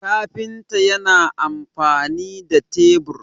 kafinta yana amfani da tebur